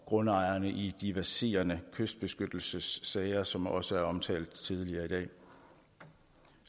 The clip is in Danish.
grundejerne i de verserende kystbeskyttelsessager som også er omtalt tidligere i dag